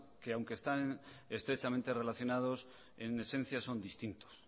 que aunque están estrechamente relacionados en esencia son distintos